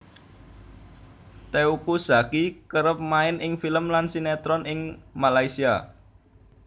Teuku Zacky kerep main ing film lan sinetron ing Malaysia